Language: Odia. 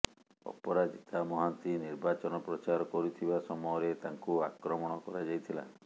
ଅପରାଜିତା ମହାନ୍ତି ନିର୍ବାଚନ ପ୍ରଚାର କରୁଥିବା ସମୟରେ ତାଙ୍କୁ ଆକ୍ରମଣ କରାଯାଇଥିଲା